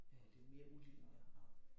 Øh det mere udlignet og